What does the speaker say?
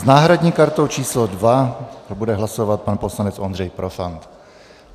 S náhradní kartou číslo 2 bude hlasovat pan poslanec Ondřej Profant.